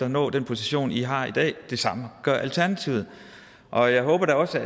at nå den position i har i dag det samme gør alternativet og jeg håber da også